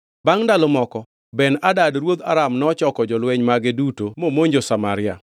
Bangʼ ndalo moko, Ben-Hadad ruodh Aram nochoko jolweny mage duto momonjo Samaria.